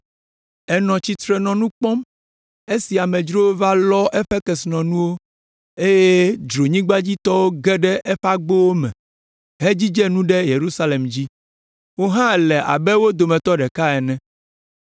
Ènɔ tsitre nɔ nu kpɔm esi amedzrowo va lɔ eƒe kesinɔnuwo eye dzronyigbadzitɔwo ge ɖe eƒe agbowo me hedzidze nu ɖe Yerusalem dzi. Wò hã èle abe wo dometɔ ɖeka ene.